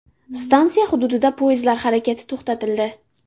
Stansiya hududida poyezdlar harakati to‘xtatildi.